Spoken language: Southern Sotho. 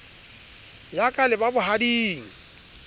ya ka le ba bohading